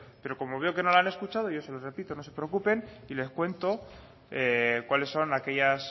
pero como veo que no lo han escuchado yo se lo repito no se preocupen y les cuento cuáles son aquellas